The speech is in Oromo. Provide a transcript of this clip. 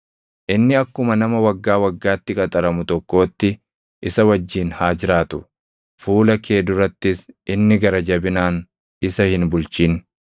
Inni akkuma nama waggaa waggaatti qaxaramu tokkootti isa wajjin haa jiraatu; fuula kee durattis inni gara jabinaan isa hin bulchin.